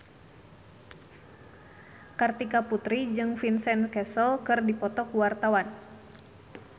Kartika Putri jeung Vincent Cassel keur dipoto ku wartawan